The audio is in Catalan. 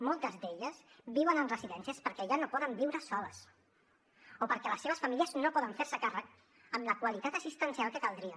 moltes d’elles viuen en residències perquè ja no poden viure soles o perquè les seves famílies no poden fer se’n càrrec amb la qualitat assistencial que caldria